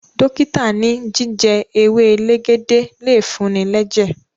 dókítà ní jíjẹ ewe elegede le fun-ni lẹjẹ